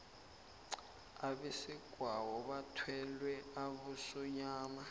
abesegwabo bathwele abosonyana